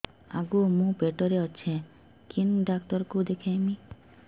ଆଗୋ ମୁଁ ପେଟରେ ଅଛେ କେନ୍ ଡାକ୍ତର କୁ ଦେଖାମି